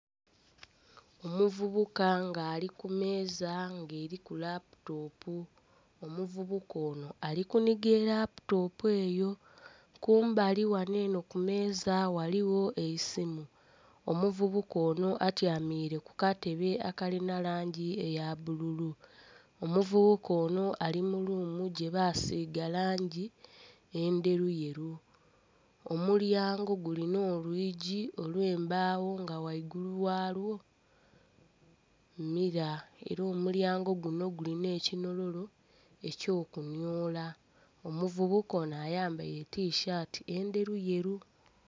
Omuvubuka nga ali kumeeza nga eriku laputopu omuvubuka ono ali kuniga eraputopu eyo kumbali ghano eno kumeeza ghaligho eisimu. Omuvubuka ono atyamire kukatebe aka lina langi eya bbululu, omuvubuka ono ali muluumu gyebasiga langi endheru yeeru omulyango gulina olwiji olwembagho nga ghaigulu ghalwo mira era omulyango guno gulina ekinhololo ekyo kunyola omuvubuka ono ayambaire tishati endheru yeeru.